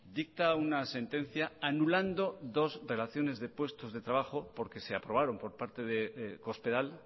dicta una sentencia anulando dos relaciones de puestos de trabajo porque se aprobaron por parte de cospedal